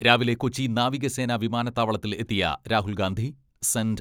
രാവിലെ കൊച്ചി നാവികസേന വിമാനത്താവളത്തിൽ എത്തിയ രാഹുൽ ഗാന്ധി സെന്റ്